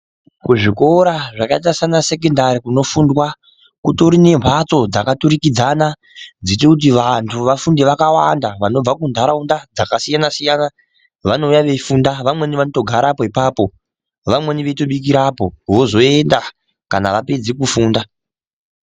Kuzvikora zvakaita sana sekondari kutori nemphatso dzakaturikidzana dzinoite kuti vantu vakawanda vanobva kuntaraunda dzakasiyana-siyana vanouya veifunda veitogarapo ipapo vamweni vanotobikirapo vozoenda kana vapeda kufunda.